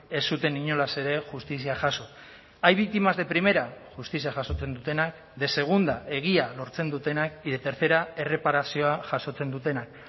ez zuten inolaz ere justizia jaso hay víctimas de primera justizia jasotzen dutenak de segunda egia lortzen dutenak y de tercera erreparazioa